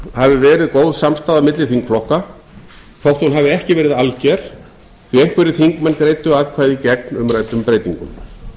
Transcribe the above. hafi verið góð samstaða milli þingflokka þótt hún hafi ekki verið alger því einhverjir þingmenn greiddu atkvæði gegn umræddum breytingum